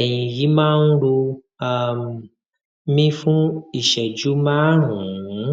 ẹyìn yìí máa ń ro um mí fuún ìṣẹjú márùnún